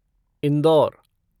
Indore